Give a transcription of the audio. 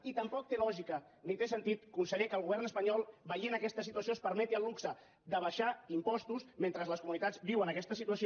i tampoc té lògica ni té sentit conseller que el govern espanyol veient aquesta situació es permeti el luxe d’abaixar impostos mentre les comunitats viuen aquesta situació